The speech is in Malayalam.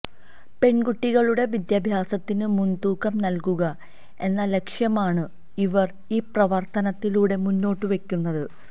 പെൺകുട്ടികളുടെ വിദ്യാഭ്യാസത്തിന് മുൻതൂക്കം നൽകുക എന്ന ലക്ഷ്യമാണ് ഇവർ ഈ പ്രവർത്തനത്തിലൂടെ മുന്നോട്ട് വെയ്ക്കുന്നത്